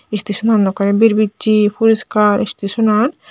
istasonan okkorey birbicchey puriskar istasonan.